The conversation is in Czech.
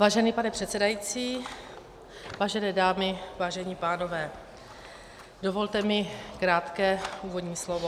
Vážený pane předsedající, vážené dámy, vážení pánové, dovolte mi krátké úvodní slovo.